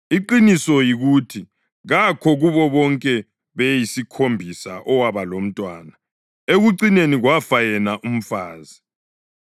Iqiniso yikuthi kakho kubo bonke beyisikhombisa owaba labantwana. Ekucineni kwafa yena umfazi.